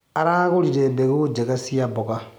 Aragũrire mbegũ njega cia mboga.